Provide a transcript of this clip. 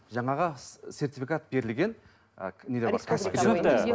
жаңағы сертификат берілген